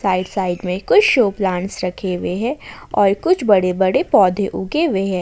Side side में कुछ show plants रखे हुए हैं और कुछ बड़े बड़े पौधे उगे हुएं हैं।